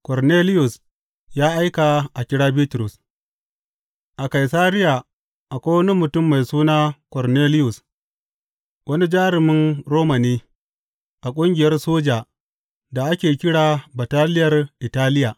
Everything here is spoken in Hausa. Korneliyus ya aika a kira Bitrus A Kaisariya akwai wani mutum mai suna Korneliyus, wani jarumin Roma ne, a ƙungiyar soja da ake kira Bataliyar Italiya.